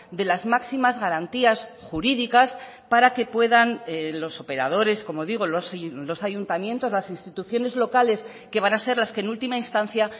de las máximas garantías jurídicas para que puedan los operadores como digo los ayuntamientos las instituciones locales que van a ser las que en última instancia